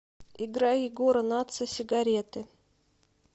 играй егора натса сигареты